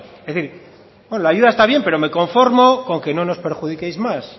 es decir bueno la ayuda está bien pero me conformo con que no nos perjudiquéis más